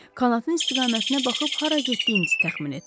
Qanadın istiqamətinə baxıb hara getdiyinizi təxmin etdim.